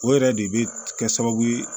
O yɛrɛ de bɛ kɛ sababu ye